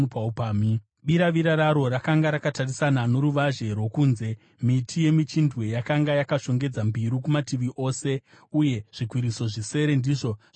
Biravira raro rakanga rakatarisana noruvazhe rwokunze; miti yemichindwe yakanga yakashongedza mbiru kumativi ose, uye zvikwiriso zvisere ndizvo zvaisvitsa ikoko.